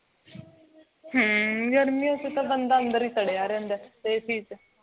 ਗਰਮੀਆਂ ਚ ਤਾਂ ਬੰਦਾ ਅੰਦਰ ਹੀ ੜ੍ਹਿਆ ਰਹਿੰਦਾ ਹੈ ac ਚ